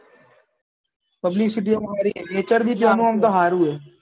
publicity એ મારી nature બી જોવાનું હોય તો હારું હે